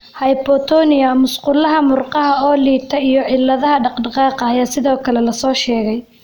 Hypotonia (musqulaha murqaha oo liita) iyo cilladaha dhaqdhaqaaqa ayaa sidoo kale la soo sheegay.